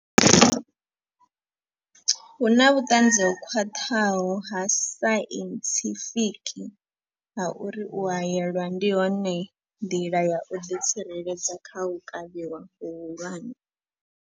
Hu na vhuṱanzi ho khwaṱhaho ha sainthifiki ha uri u haelwa ndi yone nḓila ya u ḓi tsireledza kha u kavhiwa hu hulwane.